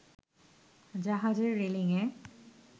জাহাজের রেলিংএ